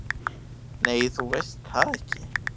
"""Nei, þú veist það ekki."""